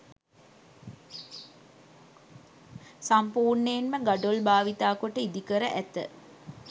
සම්පූර්ණයෙන්ම ගඩොල් භාවිත කොට ඉදිකර ඇත.